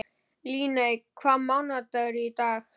Líneik, hvaða mánaðardagur er í dag?